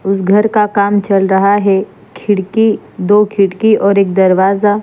उस घर का काम चल रहा है खिड़की दो खिड़की और एक दरवाज़ा--